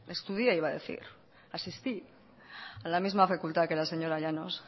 estudie iba a decir asistí a la misma facultad que la señora llanos